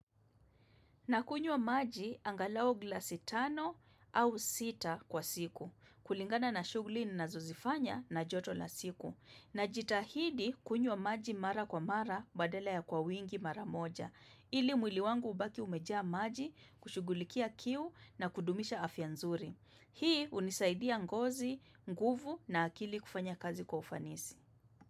Na kunywa maji angalau glasi tano au sita kwa siku. Kulingana na shughuli ninazozifanya na joto la siku. Najitahidi kunywa maji mara kwa mara badala ya kwa wingi mara moja. Ili mwili wangu ubaki umejaa maji kushugulikia kiu na kudumisha afya nzuri. Hii hunisaidia ngozi, nguvu na akili kufanya kazi kwa ufanisi.